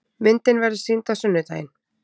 Myndin verður sýnd á sunnudaginn.